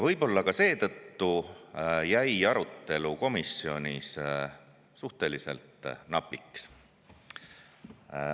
Võib-olla ka seetõttu jäi arutelu komisjonis suhteliselt napiks.